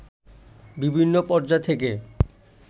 বিভিন্ন পর্যায় থেকে